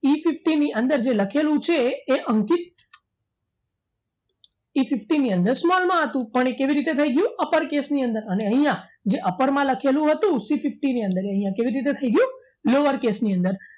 Efifty ની અંદર જે લખેલું છે એ અંકિત Efifty ની અંદર small માં હતું પણ એ કેવી રીતે થઈ ગયું તો upper case ની અંદર અહીંયા જે upper માં લખેલું હતું Cfifty ની અંદર એ કેવી રીતના થઈ ગયું iower case ની અંદર